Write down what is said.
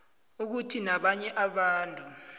ukuthi abanye abantu